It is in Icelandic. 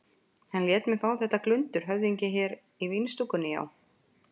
Hann lét mig fá þetta glundur höfðinginn hérna í vínstúkunni, já.